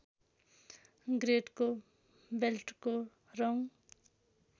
ग्रेडको बेल्टको रङ